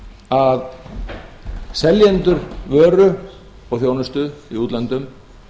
að seljendur vöru og þjónustu í útlöndum